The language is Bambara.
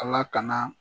Ala kana